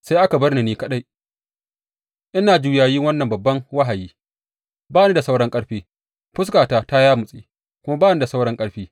Sai aka bar ni ni kaɗai, ina juyayi wannan babban wahayi, ba ni da sauran ƙarfi, fuskata ta yamutse kuma ba ni da sauran ƙarfi.